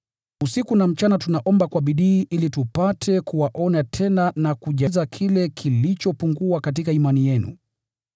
Usiku na mchana tunaomba kwa bidii ili tupate kuwaona tena na kujaza kile kilichopungua katika imani yenu.